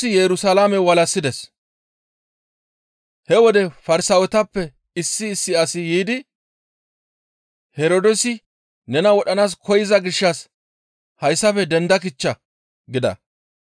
He wode Farsaawetappe issi issi asi yiidi, «Herdoosi nena wodhanaas koyza gishshas hayssafe denda kichcha» gida.